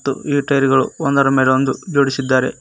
ತ್ತು ಈ ಟೈರುಗಳು ಒಂದರ ಮೇಲೆ ಒಂದು ಜೋಡಿಸಿದ್ದಾರೆ.